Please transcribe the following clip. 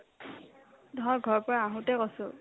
মই ঘৰৰ পৰা আহোতে কৈছো